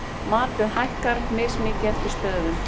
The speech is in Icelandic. Matið hækkar mismikið eftir stöðum.